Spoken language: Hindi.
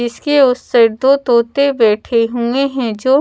जिसके उस साइड दो तोते बैठे हुए हैं जो--